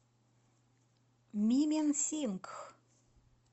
мименсингх